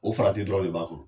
O farati dɔrɔn de b'a kan.